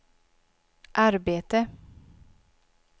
arbete